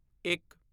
ਇੱਕ